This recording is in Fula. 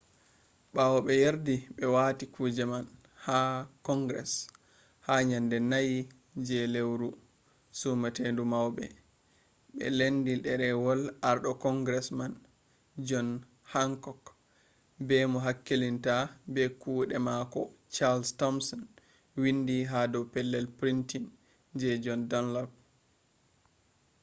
ɓawo ɓe yardi ɓe wati kuje man ha kongres ha nyande 4 je lewru sumatondu wawbe ɓe lendi ɗerwol arɗo kongres man jon hankok be mo hakkilitta be kuɗe mako chals tomson windi ha dow pellel printin je jon dunlap